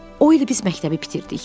O il biz məktəbi bitirdik.